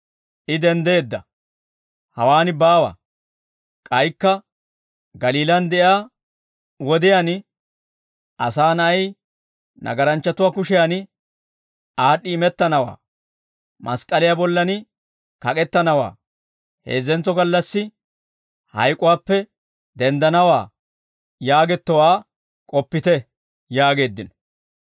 I denddeedda; hawaan baawa. K'aykka Galiilaan de'iyaa wodiyaan, ‹Asaa na'ay nagaranchchatuwaa kushiyan aad'd'i imettanawaa; mask'k'aliyaa bollan kak'ettanawaa, heezzentso gallassi hayk'uwaappe denddanawaa› yaagettowaa k'oppite» yaageeddino.